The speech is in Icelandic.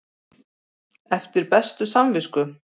Eftir bestu samvisku?